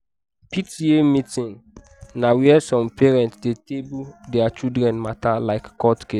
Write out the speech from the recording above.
pta meeting na where some parents dey table their children matter like court case.